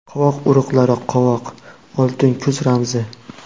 Qovoq urug‘lari Qovoq – oltin kuz ramzi.